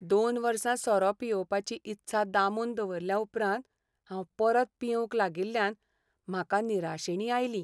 दोन वर्सां सोरो पियेवपाची ईत्सा दामून दरवरल्याउपरांत हांव परत पियेवंक लागिल्ल्यान म्हाका निराशेणी आयली.